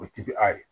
O ti bi a yɛrɛ ye